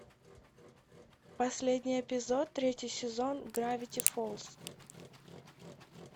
последний эпизод третий сезон гравити фолз